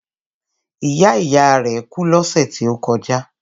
Ìyá ìyá rẹ̀ kú lọ́sẹ̀ tí ó kọjá.